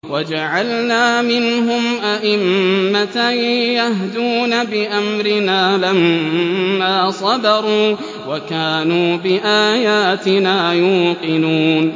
وَجَعَلْنَا مِنْهُمْ أَئِمَّةً يَهْدُونَ بِأَمْرِنَا لَمَّا صَبَرُوا ۖ وَكَانُوا بِآيَاتِنَا يُوقِنُونَ